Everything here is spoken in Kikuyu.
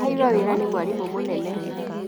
Aheirwo wĩra nĩ mwarimũ mũnene